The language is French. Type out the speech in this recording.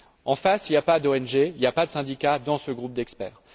En face, il n'y a pas d'ONG, il n'y a pas de syndicats dans ce groupe d'experts.